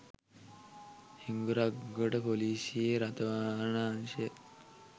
හිඟුරක්ගොඩ ‍පොලිසියේ රථවාහන අංශයේ